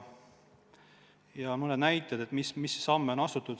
Toon mõned näited, mis samme on astutud.